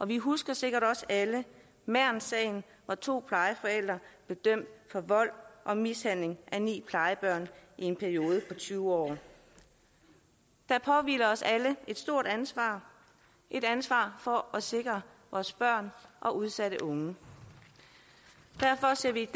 vi husker sikkert også alle mernsagen hvor to plejeforældre blev dømt for vold og mishandling af ni plejebørn i en periode på tyve år der påhviler os alle et stort ansvar et ansvar for at sikre vores børn og udsatte unge derfor ser vi